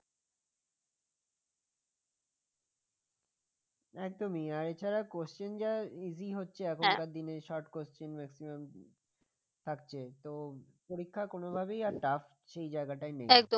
একদম এছাড়া question যা easy হচ্ছে এখনকার দিনে short question maximum থাকছে তো পরীক্ষা কোন ভাবেই আর tough সেই জায়গাটাই নেই